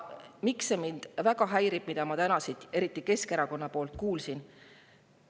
Miks mind väga häirib see, mida ma täna siin eriti Keskerakonna poolt kuulsin?